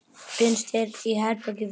Finnst hér í berginu víða.